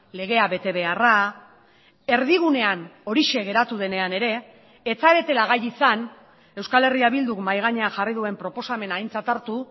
legea betebeharra erdigunean horixe geratu denean ere ez zaretela gai izan euskal herria bilduk mahai gainean jarri duen proposamena aintzat hartu